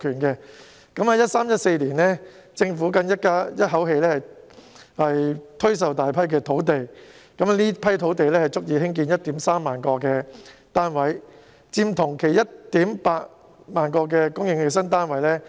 在 2013-2014 年度，政府更一口氣推售大批土地，這批土地足以興建 13,000 個單位，佔同期供應的 18,000 個新單位七成。